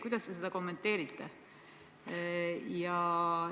Kuidas te seda kommenteerite?